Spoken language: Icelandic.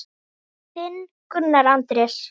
Þinn, Gunnar Andrés.